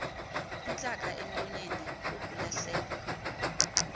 intlaka emlonyeni kukulahlekwa